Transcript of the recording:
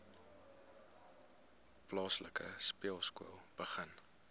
plaaslike speelskool begin